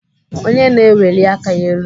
Onye na-eweli aka ya elu?